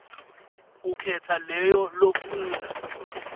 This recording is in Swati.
ukhetsa leyo lofuna